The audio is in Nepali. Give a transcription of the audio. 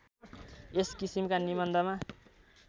यस किसिमका निबन्धमा